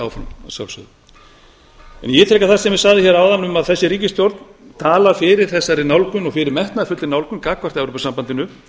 áfram en ég tel að það sem ég sagði hér áðan um að þessi ríkisstjórn talar fyrir þessari nálgun og fyrir metnaðarfullri nálgun gagnvart evrópusambandinu